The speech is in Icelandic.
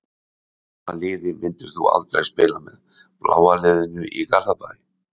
Hvaða liði myndir þú aldrei spila með: bláa liðinu í Garðabæ.